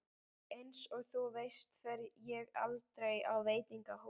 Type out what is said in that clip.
Einsog þú veist fer ég aldrei á veitingahús.